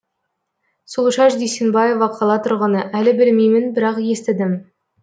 сұлушаш дүйсенбаева қала тұрғыны әлі білмеймін бірақ естідім